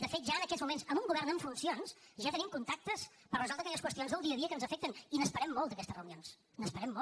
de fet ja en aquests moments amb un govern en funcions ja tenim contactes per resoldre aquelles qüestions del dia a dia que ens afecten i n’esperem molt d’aques tes reunions n’esperem molt